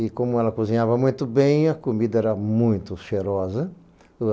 E como ela cozinhava muito bem, a comida era muito cheirosa.